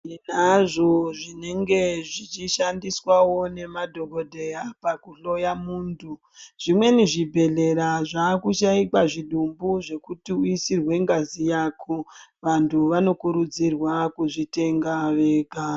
Tinazvo zvinenge zvichishandiswawo ngemadhokodheya pakuhloya munthu, zvimweni zvibhedhlera zvaakushaika zvitubu zvekuti uisirwe ngazi yako, vanthu vanokurudzirwa kuzvitenga vega.